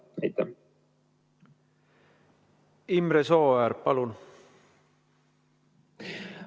Imre Sooäär, palun!